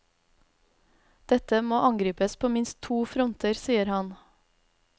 Dette må angripes på minst to fronter sier han.